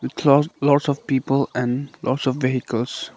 lots of people and lots of vehicles